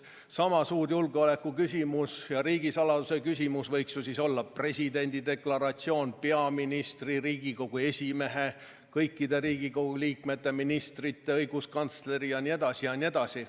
Sama suur julgeoleku küsimus ja riigisaladuse küsimus võiks ju olla presidendi deklaratsioon, peaministri, Riigikogu esimehe, kõikide Riigikogu liikmete, ministrite, õiguskantsleri deklaratsioon jne, jne.